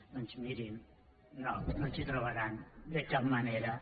doncs mirin no no ens hi trobaran de cap manera